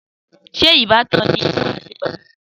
Sé ìbátan ni ìwọ àti Pelumi?